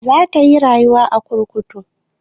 Za ta iya rayuwa a kurkuku?